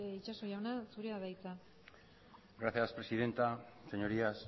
itxaso jauna zurea da hitza gracias presidenta señorías